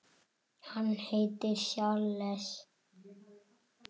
Hann heitir Charles